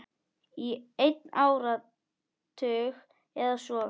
Í einn áratug eða svo.